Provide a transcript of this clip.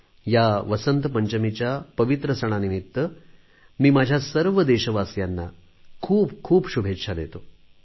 या वसंत पंचमीच्या पवित्र सणानिमित्त मी माझ्या सर्व देशवासियांना खूप साऱ्या शुभेच्छा देतो